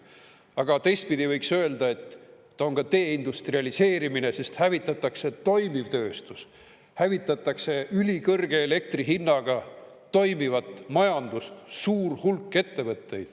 Aga teistpidi võiks öelda, et ta on ka deindustrialiseerimine, sest hävitatakse toimiv tööstus, hävitatakse ülikõrge elektri hinnaga toimivat majandust, suur hulk ettevõtteid.